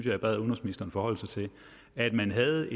jeg bad udenrigsministeren forholde sig til at man havde